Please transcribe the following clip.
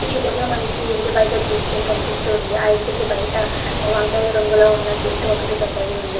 ఈ చిత్రంలో మనకి ఇంటి బయట దృశ్యం కనిపిస్తు ఉంది ఆ ఇంటికి బయట వంకాయ్ రంగులో ఉన్న గేటు ఒక్కటి పెద్దది ఉంది.